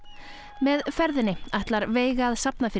með ferðinni ætlar veiga að safna fyrir